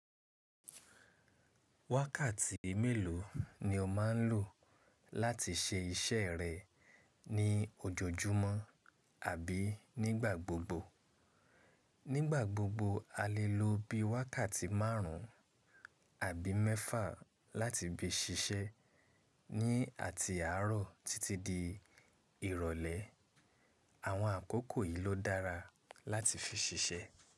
Wákàtí mélòó ni o máa ń lò láti ṣe iṣẹ́ rẹ ní ojoojúmọ́ àbí nígbà gbogbo? Nígbà gbogbo a lè lo bí i wákàtí márùn-ún àbí mẹ́fà láti bi ṣiṣẹ́. Ní àti àárọ̀ títí di ìrọ̀lẹ́, àwọn àkókò yìí ló dára láti fi ṣiṣẹ́.